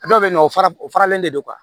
Dɔw bɛ yen nɔ o fara o faralen de don